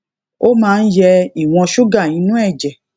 ó máa ń yẹ ìwòn ṣúgà inú èjè